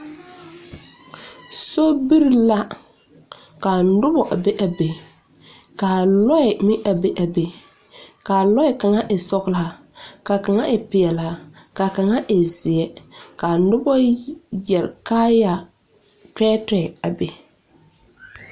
Sobiri la ka noba be a be ka a lɔɛ meŋ be a be ka a lɔɛ kaŋa e sɔgla ka kaŋa e peɛlaa ka a kaŋa e zeɛ ka a noba yi yɛre kaaya tɛɛtɛɛ a be.